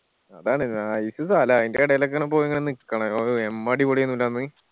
അതാണ് nice സ്ഥലാ അയിന്റെ എടയിൽ ഒക്കെ പോയി നിക്കണോ ഓ എമ്മ അടിപൊളി ആയിനു ല്ലേ അന്ന്